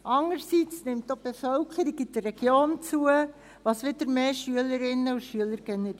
Zum andern nimmt auch die Bevölkerung in der Region zu, was wiederum mehr Schülerinnen und Schüler generiert.